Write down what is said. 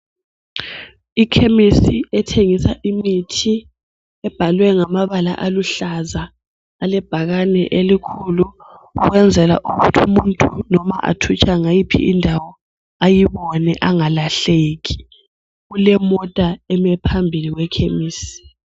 Ikhemisi ethengisa imithi ibhalwe ngamabala aluhlaza alebhakani elikhulu ukwenzela ukuthi umuntu loba athutsha ngayiphi indawo ayibone angalahleki kulemota eme phambili kwe khemisi.